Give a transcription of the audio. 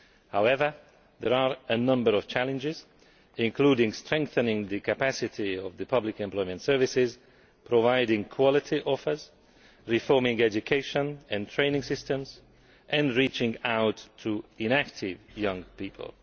However, there are a number of challenges, including strengthening the capacity of public employment services, providing quality offers, reforming education and training systems, and reaching out to inactive young people.